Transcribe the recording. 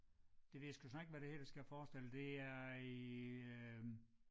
Det ved jeg sgu snart ikke hvad det her skal forestille det er i øh